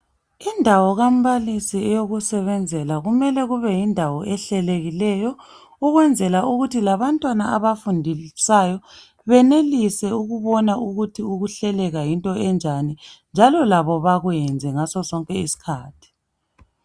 Indawo kambalisi eyokusebenzela, kumele kube yindawo ehlelekileyo, ukwenzela ukuthi labantwana abafundisayo benelise ukubona ukuthi ukuhleleka yinto enjani, njalo labo bakwenze ngaso sonke isikhathi.